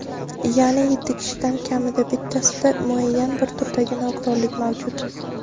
yaʼni yetti kishidan kamida bittasida muayyan bir turdagi nogironlik mavjud.